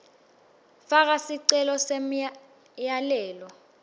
faka sicelo semyalelo